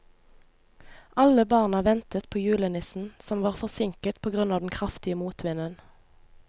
Alle barna ventet på julenissen, som var forsinket på grunn av den kraftige motvinden.